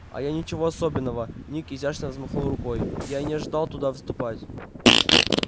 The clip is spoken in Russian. а ничего особенного ник изящно взмахнул рукой я и не жаждал туда вступать